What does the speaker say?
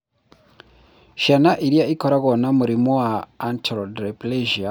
Ciana iria ikoragwo na mũrimũ wa achondroplasia ingĩrigitũo atĩa?